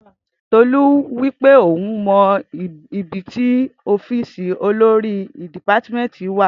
Tolu wipe, oún ò mọ ìbítì ọfisi òlòrí dipàtímẹtí wà.